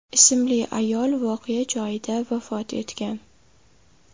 ismli ayol voqea joyida vafot etgan.